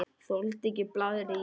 Þoldi ekki blaðrið í henni.